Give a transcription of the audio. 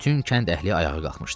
Bütün kənd əhli ayağa qalxmışdı.